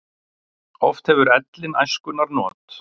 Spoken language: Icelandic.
Oft hefur ellin æskunnar not.